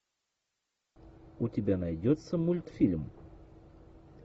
у тебя найдется мультфильм